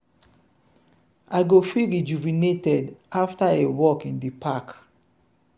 i go feel rejuvenated after a walk in di park.